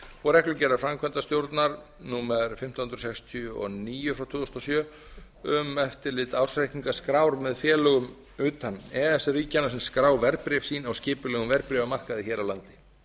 og reglugerðar framkvæmdastjórnar númer fimmtán hundruð sextíu og níu tvö þúsund og sjö um eftirlit ársreikningaskrár með félögum utan e e s ríkjanna sem skrá verðbréf sín á skipulegum verðbréfamarkaði hér á landi